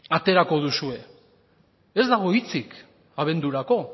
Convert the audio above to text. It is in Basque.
aterako duzue ez dago hitzik abendurako